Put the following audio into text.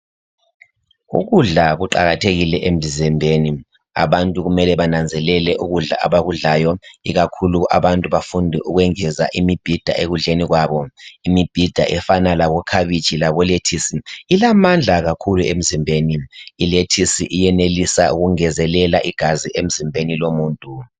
Ukudla kuqakathekile emzimbeni abantu kumele bananzelele ukudla abakudlayo ikakhulu abantu bafunde ukwengeza imbhida ekudleni kwabo imibhida efana labo khabitshi labo lettuce ilamandla kakhulu emzimbeni ilettuce iyenelisa ukungezelela igazi emzimbeni womuntu.